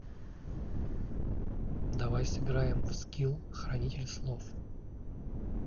давай сыграем в скил хранитель слов